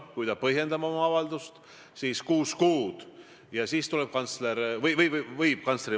See, mida ma siin rääkisin – Jürgen Ligi kuulis risti vastupidist ja tõlkis selle meile kõigile ülejäänutele ära.